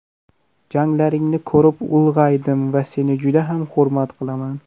Janglaringni ko‘rib ulg‘aydim va seni juda ham hurmat qilaman.